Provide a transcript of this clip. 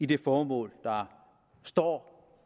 det formål der står